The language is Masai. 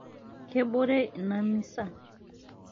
kebore ina misa